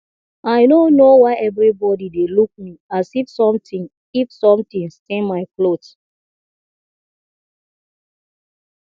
i no know why everybody dey look me as if something if something stain my cloth